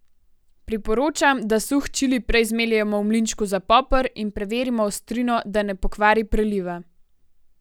Priporočam, da suh čili prej zmeljemo v mlinčku za poper in preverimo ostrino, da ne pokvari preliva.